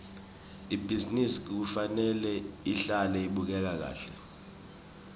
ibhizinisi kufanele ihlale ibukeka kahle